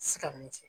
Sikamu cɛ